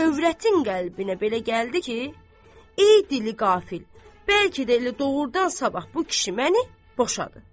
Övrətin qəlbinə belə gəldi ki, ey dili qafil, bəlkə də elə doğurdan sabah bu kişi məni boşadı.